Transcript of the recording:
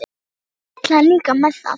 Hvað vill hann líka með það?